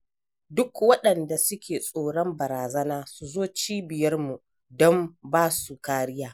Duk waɗanda suke tsoron barazana su zu cibiyarmu don ba su kariya.